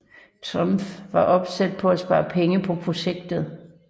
Trump var opsat på at spare penge på projektet